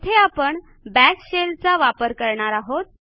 येथे आपण bash shell चा वापर करणार आहोत